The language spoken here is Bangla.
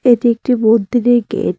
এটি একটি মন্দিরের গেট ।